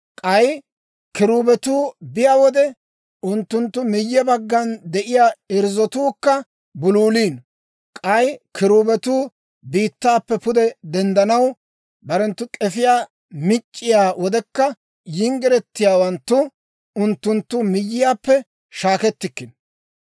K'ay kiruubetuu biyaa wode, unttunttu miyye baggan de'iyaa irzzotuukka buluuliino; k'ay kiruubetuu biittaappe pude denddanaw barenttu k'efiyaa mic'c'iyaa wodekka yinggiretiyaawanttu unttunttu miyyiyaappe shaakkettikkino.